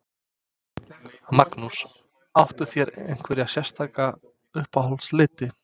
Magnús: Áttu þér einhverja sérstaka uppáhalds liti?